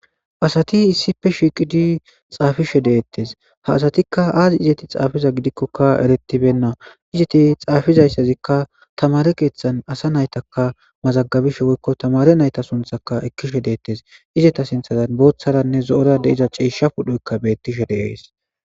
asati issife shiiqidi xaafishe deettes ha asatikka aazi izeti xaafiza gidikkokka eretibenna izeti xaafizayssazikka tamare keeththan asa naytaka mazaggabishe woykko tamare nayta sunthaka ekkishe deettes izeta sinthazan booththaranne zo7ora de iza ciisha pudhoykka bettishe deees